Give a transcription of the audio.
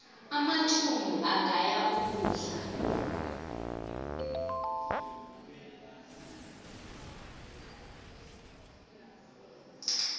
amathumbu agaya ukudla